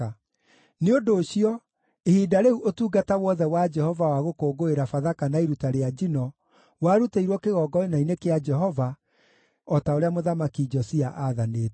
Nĩ ũndũ ũcio, ihinda rĩu ũtungata wothe wa Jehova wa gũkũngũĩra Bathaka na iruta rĩa njino, warutĩirwo kĩgongona-inĩ kĩa Jehova, o ta ũrĩa Mũthamaki Josia aathanĩte.